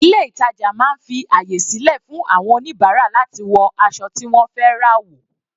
Ilé ìtàjà máa ń fi àyè sílẹ̀ fún àwọn oníbàárà láti wọ aṣọ tí wọ́n fẹ́ rà wò.